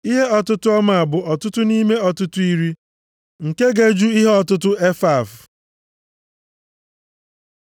(Ihe ọtụtụ ọmaa bụ otu ọtụtụ nʼime ọtụtụ iri nke ga-eju ihe ọtụtụ efaf.)